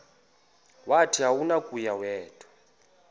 wathi akunakuya wedw